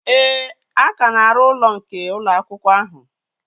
Ee, a ka na-arụ ụlọ nke ụlọ akwụkwọ ahụ